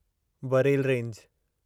Barail range